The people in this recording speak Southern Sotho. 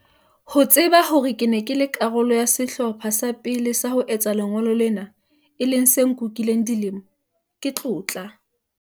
Ho tseba hore ke ne ke le karolo ya sehlopha sa pele sa ho etsa lengolo lena, e leng se nkukileng dilemo, ke tlotla.